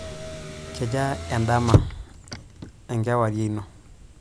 Kejaa endama/enkewarie ino?